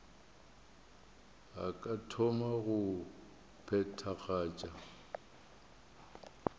a ka thoma go phethagatša